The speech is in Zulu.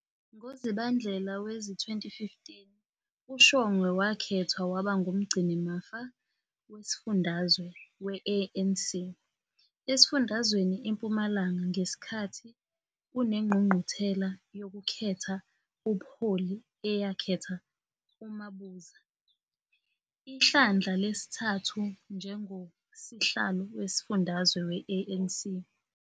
NgoZibandlela wezi-2015, uShongwe wakhethwa waba ngumgcinimafa wesifundazwe we-ANC esifundazweni iMpumalanga ngesikhathi kunengqungquthela yokukhetha ubuholi eyakhetha uMabuza ihlandla lesithathu njengoSihlalo wesifundazwe we-ANC.